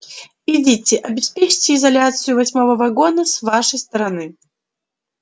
идите обеспечьте изоляцию восьмого вагона с вашей стороны